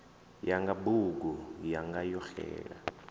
yanga bugu yanga yo xela